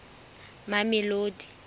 mamelodi